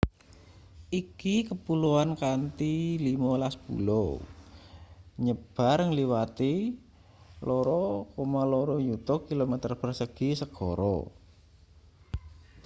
iki kepuloan kanthi 15 pulo nyebar ngliwati 2,2 yuta km2 segara